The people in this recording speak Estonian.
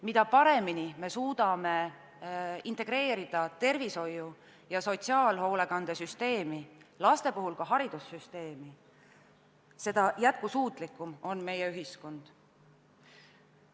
Mida paremini me suudame integreerida tervishoiu ja sotsiaalhoolekande süsteemi, laste puhul ka haridussüsteemi, seda jätkusuutlikum on meie ühiskond.